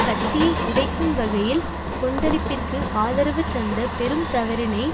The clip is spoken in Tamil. கட்சியை உடைக்கும் வகையில் கொந்தளிப்பிற்கு ஆதரவு தந்த பெரும் தவறினை